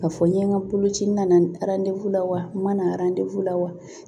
Ka fɔ n ye n ka boloci na na la wa mana la wa